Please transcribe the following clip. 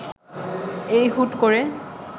এই হুট করে